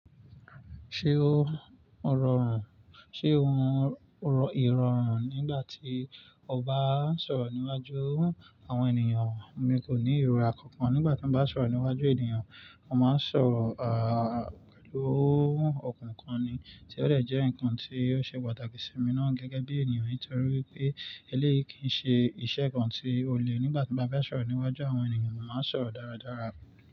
Ṣé o rọrùn, ṣe ohun ìrọrùn nígbà tí o bá ń sọ̀rọ̀ níwájú àwọn ènìyàn? Mi kò ní ìróra kankan nígbà tí mo bá ń sọ̀rọ̀ níwájú ènìyàn. Mo máa ń sọ̀rọ̀, à, pẹ̀lú ọ̀kún kan ni, tí ó lè jẹ́ ǹkan tí ó ṣe pàtàkì sí mi ná gẹ́gẹ́ bí ènìyàn. Nítorí wipé eléyìí kì í ṣe iṣẹ́ ǹkan tí ó le nígbà tí mo bá ń sọ̀rọ̀ níwájú àwọn ènìyàn, mo máa ń sọ̀rọ̀ dáradára.